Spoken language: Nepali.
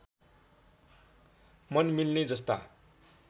मन मिल्ने जस्ता